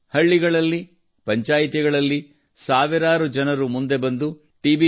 ಹಳ್ಳಿಗಳಲ್ಲಿ ಪಂಚಾಯ್ತಿಗಳಲ್ಲಿ ಸಾವಿರಾರು ಜನರು ಮುಂದೆ ಬಂದು ಟಿ